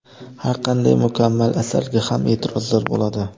Har qanday mukammal asarga ham e’tirozlar bo‘ladi.